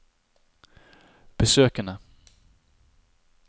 besøkene